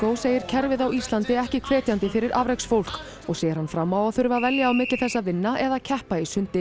segir kerfið á Íslandi ekki hvetjandi fyrir afreksfólk og sér hann fram á þurfa að velja á milli þess að vinna eða keppa í sundi